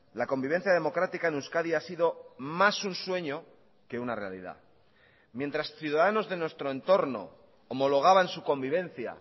la convivencia democrática en euskadi ha sido más un sueño que una realidad mientras ciudadanos de nuestro entorno homologaban su convivencia